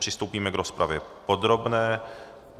Přistoupíme k rozpravě podobné.